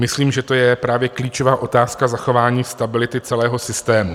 Myslím, že to je právě klíčová otázka zachování stability celého systému.